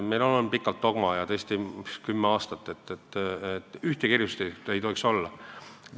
Meil on pikalt, kümme aastat olnud justkui dogma ja arusaam, et ühtegi erisust ei tohiks olla.